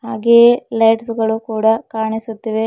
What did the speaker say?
ಹಾಗೆಯೇ ಲೈಟ್ಸ್ ಗಳು ಕೂಡ ಕಾಣಿಸುತ್ತಿವೆ.